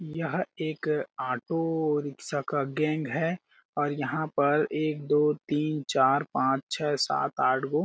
यह एक auto rickshaw का गैंग है और यहां पर एक दो तीन च पा आठ --